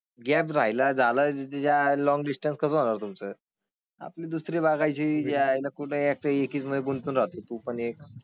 Gap राहिला झाला ज्या लॉन्ग डिस्टन्स कसे होणार तुमचं आपली दुसरी बाळगायची जे आहे ना कुठेतरी एकमध्ये गुंतून राहतो पण एक.